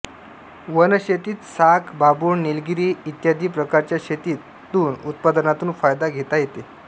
one शेतीत साग बाभूळ निलगिरी इत्यादी प्रकारच्या शेतीत तुन उत्पादनातून फायदा घेता येते